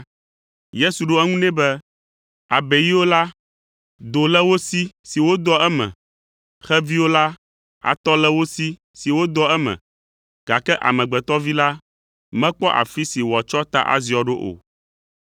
Yesu ɖo eŋu nɛ be, “Abeiwo la, do le wo si wodɔa eme, xeviwo la, atɔ le wo si wodɔa eme, gake Amegbetɔ Vi la mekpɔ afi si wòatsɔ ta aziɔ ɖo o.”